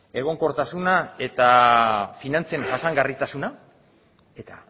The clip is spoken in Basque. egonkortasuna eta finantzen jasangarritasuna eta